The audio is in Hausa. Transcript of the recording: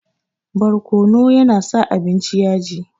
Barkono ya na sa abinci yaji